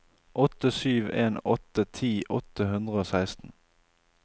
åtte sju en åtte ti åtte hundre og seksten